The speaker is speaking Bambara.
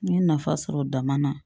N ye nafa sɔrɔ dama na